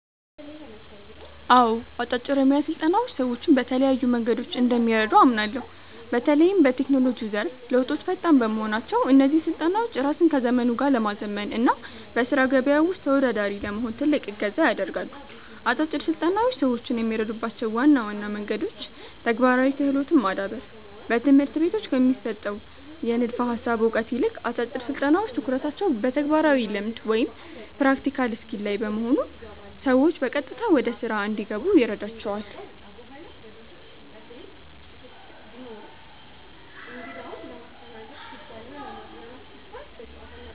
አዎ፣ አጫጭር የሞያ ስልጠናዎች ሰዎችን በተለያዩ መንገዶች እንደሚረዱ አምናለሁ። በተለይም በቴክኖሎጂው ዘርፍ ለውጦች ፈጣን በመሆናቸው፣ እነዚህ ስልጠናዎች ራስን ከዘመኑ ጋር ለማዘመን እና በሥራ ገበያው ውስጥ ተወዳዳሪ ለመሆን ትልቅ እገዛ ያደርጋሉ። አጫጭር ስልጠናዎች ሰዎችን የሚረዱባቸው ዋና ዋና መንገዶች ተግባራዊ ክህሎትን ማዳበር፦ በትምህርት ቤቶች ከሚሰጠው የንድፈ ሃሳብ እውቀት ይልቅ፣ አጫጭር ስልጠናዎች ትኩረታቸው በተግባራዊ ልምድ (Practical Skill) ላይ በመሆኑ ሰዎች በቀጥታ ወደ ሥራ እንዲገቡ ይረዳቸዋል።